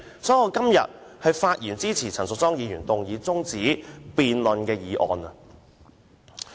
所以，我今天發言支持陳淑莊議員動議中止待續的議案。